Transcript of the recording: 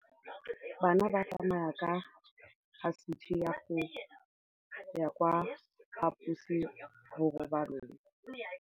Bana ba tsamaya ka phašitshe go ya kwa phaposiborobalong.